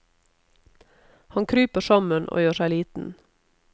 Han kryper sammen og gjør seg liten.